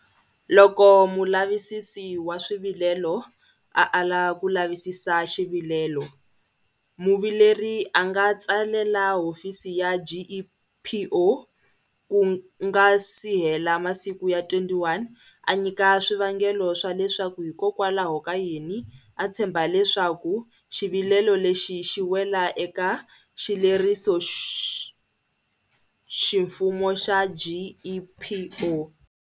Loko Mulavisisi wa Swivilelo a ala ku lavisisa xivilelo, muvileri a nga tsalela hofisi ya GEPO ku nga si hela masiku ya 21 a nyika swivangelo swa leswaku hikwalahokayini a tshemba leswaku xivilelo lexi xi wela eka xilerisoximfumo xa GEPO.